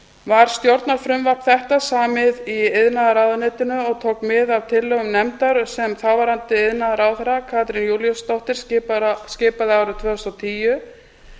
var stjórnarfrumvarp þetta samið í iðnaðarráðuneytinu og tók mið af tillögum nefndar sem þáverandi iðnaðarráðherra katrín júlíusdóttir skipaði árið tvö þúsund og tíu